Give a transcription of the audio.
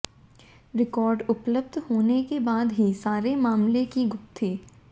record उपलब्ध होने के बाद ही सारे मामले की गुत्थी